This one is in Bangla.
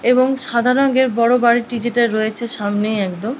এবং সাদা রঙয়ের বড় বাড়িটি যেটা রয়েছে সামনেই একদম--